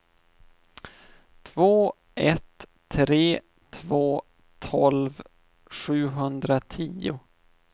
två ett tre två tolv sjuhundratio